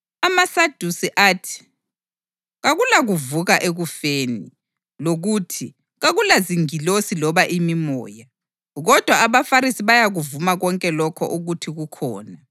(AmaSadusi athi kakulakuvuka ekufeni, lokuthi kakulazingilosi loba imimoya, kodwa abaFarisi bayakuvuma konke lokho ukuthi kukhona.)